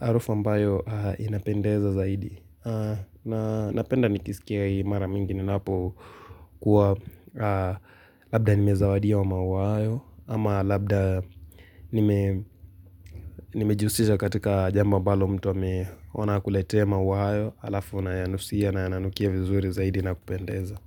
harufu ambayo inapendeza zaidi. Napenda nikisikia hii mara mingi ninapokuwa labda nimezawadiwa maua hayo, ama labda nime nimejihusisha katika jambo ambalo mtu ameona akuletee maua hayo halafu unayanusia na yananukia vizuri zaidi na kupendeza.